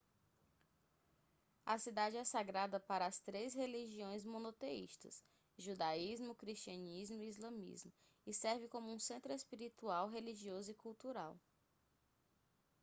a cidade é sagrada para as três religiões monoteístas judaísmo cristianismo e islamismo e serve como um centro espiritual religioso e cultural